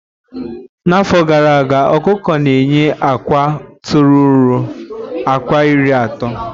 Na afọ gara aga okuko na eye akwa tọrọ ruo akwa iri ato